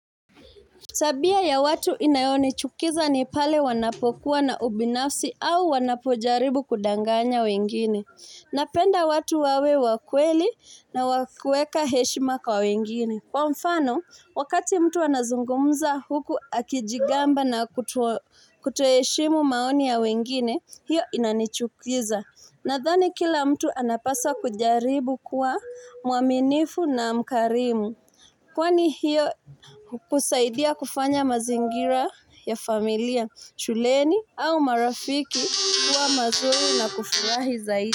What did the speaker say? Tabia ya watu inayonichukiza ni pale wanapokuwa na ubinafsi au wanapojaribu kudanganya wengine. Napenda watu wawe wakweli na wakueka heshima kwa wengini. Kwa mfano, wakati mtu anazungumza huku akijigamba na kutoheshimu maoni ya wengini, hiyo inanichukiza. Nathani kila mtu anapasa kujaribu kwa muaminifu na mkarimu. Kwani hiyo ukusaidia kufanya mazingira ya familia shuleni au marafiki kuwa mazuri na kufurahi zaidi.